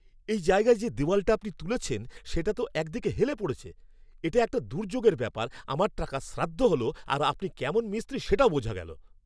এই জায়গায় যে দেওয়ালটা আপনি তুলেছেন সেটা তো একদিকে হেলে পড়েছে, এটা একটা দুর্যোগের ব্যাপার, আমার টাকার শ্রাদ্ধ হল আর আপনি কেমন মিস্ত্রী সেটাও বোঝা গেল!